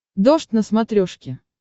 дождь на смотрешке